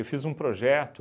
fiz um projeto